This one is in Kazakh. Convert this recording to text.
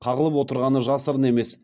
қағылып отырғаны жасырын емес